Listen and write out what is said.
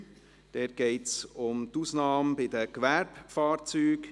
dort geht es um die Ausnahme bei den Gewerbefahrzeugen.